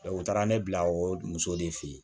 u taara ne bila o muso de fe yen